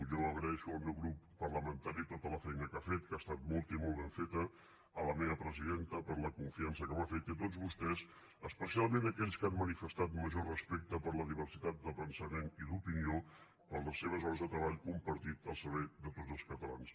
jo agraeixo al meu grup parlamentari tota la feina que ha fet que ha estat molta i molt ben feta a la meva presidenta per la confiança que m’ha fet i a tots vostès especialment a aquells que han manifestat major respecte per la diversitat de pensament i d’opinió per les seves hores de treball compartit al servei de tots els catalans